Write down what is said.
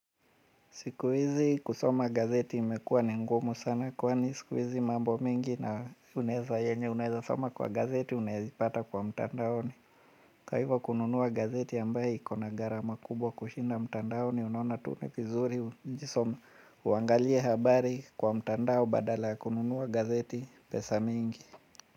Siku hizi kusoma gazeti imekuwa ni ngumu sana kwani siku hizi mambo mingi na unaeza yenye unaeza soma kwa gazeti unayapata kwa mtandaoni. Kwa hivyo kununua gazeti ambaye iko na gharama kubwa kushinda mtandaoni unaona tu ni vizuri uangalie habari kwa mtandao badala kununua gazeti pesa mingi.